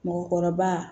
Mɔgɔkɔrɔba